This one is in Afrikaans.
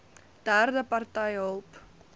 derde party hulp